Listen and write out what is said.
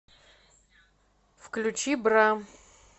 включи бра